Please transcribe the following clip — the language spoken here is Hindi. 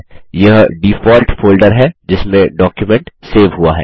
यह डिफ़ॉल्ट फोल्डर है जिसमें डॉक्युमेंट सेव हुआ है